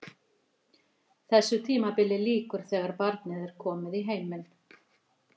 Þessu tímabili lýkur þegar barnið er komið í heiminn.